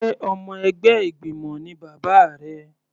Sé ọmọ ẹgbẹ́ ìgbìmọ̀ ni bàbá rẹ?